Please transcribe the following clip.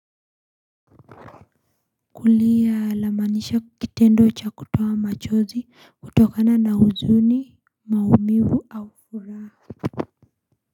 Kulia lamaanisha kitendo cha kutoa machozi kutokana na huzuni, maumivu, au hura.